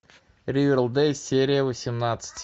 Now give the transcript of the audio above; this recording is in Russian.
ривердэйл серия восемнадцать